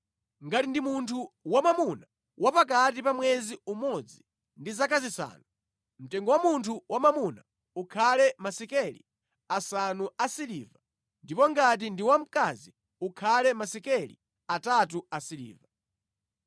Ngati ndi munthu wamwamuna wa pakati pa mwezi umodzi ndi zaka zisanu, mtengo wa munthu wamwamuna ukhale masekeli asanu a siliva ndipo ngati ndi wamkazi, ukhale masekeli atatu a siliva.